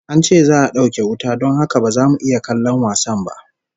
An ce za'a dauke wuta don haka ba za mu iya kallon wasan ba